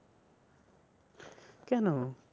কেন?